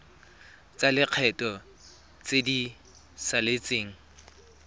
tsa lekgetho tse di saletseng